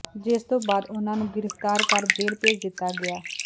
ਜਿਸ ਤੋਂ ਬਾਅਦ ਉਨ੍ਹਾਂ ਨੂੰ ਗ੍ਰਿਫ਼ਤਾਰ ਕਰ ਜੇਲ੍ਹ ਭੇਜ ਦਿਤਾ ਗਿਆ